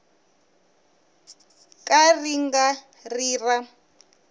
ka ri nga ri ra